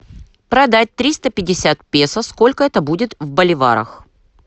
продать триста пятьдесят песо сколько это будет в боливарах